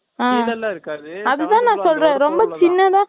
இதெல்லாம் இருக்காது. அதுதான், நான் சொல்றேன். ரொம்ப சின்னதா